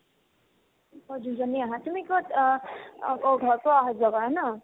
অ, দুজনীয়ে আহা তুমি ক'ত অ অ আকৌ ঘৰৰ পৰা অহা-যোৱা কৰা ন